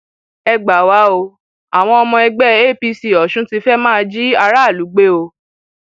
ẹ gbà wá o àwọn ọmọ ẹgbẹ apc ọsùn ti fẹẹ máa jí aráàlú gbé o